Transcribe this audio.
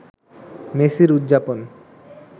মেসির উদযাপন